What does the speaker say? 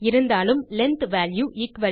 இருந்தாலும் length value 100